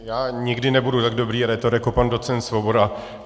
Já nikdy nebudu tak dobrý rétor jako pan docent Svoboda.